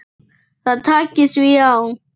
Það taki því á.